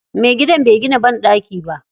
Me gidan bai gina banɗaki ba.